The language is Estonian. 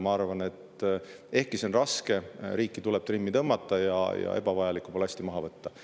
Ma arvan, et ehkki see on raske, tuleb riiki trimmi tõmmata ja ebavajalikku ballasti maha võtta.